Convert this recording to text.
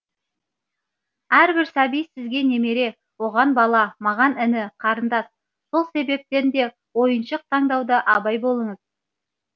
әрбір сәби сізге немере оған бала маған іні қарындас сол себептен де ойыншық таңдауда абай болыңыз